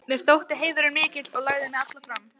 Mér þótti heiðurinn mikill og lagði mig alla fram.